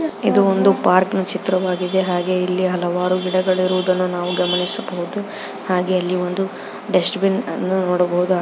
ಇದು ಒಂದು ಪಾರ್ಕಿನ ಚಿತ್ರವಾಗಿದೆ ಹಾಗೆ ಇಲ್ಲಿ ಹಲವಾರು ಗಿಡಗಳು ಇರುವುದನ್ನು ನಾವು ಗಮನಿಸಬಹುದು ಹಾಗೆ ಇಲ್ಲಿ ಒಂದು ಡಷ್ಟಬಿನ್ ಅನ್ನು ನೋಡಬಹುದು.